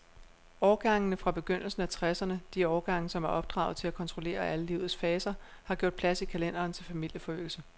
Årgangene fra begyndelsen af tresserne, de årgange, som er opdraget til at kontrollere alle livets faser, har gjort plads i kalenderen til familieforøgelse.